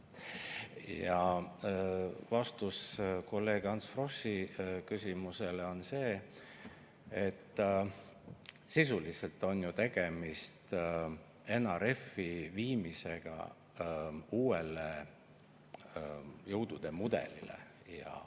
Ja vastus kolleeg Ants Froschi küsimusele on see, et sisuliselt on ju tegemist NRF-i üleviimisega uuele jõudude mudelile.